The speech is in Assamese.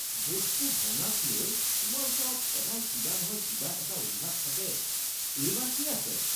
বস্তু ভঙাকলৈ তোমাৰ ওচৰত সদায় কিবা নহয় কিবা এটা অজুহাত থাকে। এইবাৰ কি আছে?